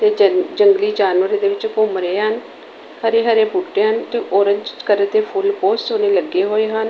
ਦੇ ਜੰਗਲੀ ਜਾਨਵਰ ਇਹਦੇ ਵਿੱਚ ਘੁੰਮ ਰਹੇ ਹਨ ਹਰੇ- ਰੇ ਬੂਟੇ ਹਨ ਤੇ ਔਰੇਂਜ ਕਲਰ ਦੇ ਫੁੱਲ ਬਹੁਤ ਸੋਹਣੇ ਲੱਗੇ ਹੋਏ ਹਨ।